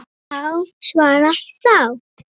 Hár svarar þá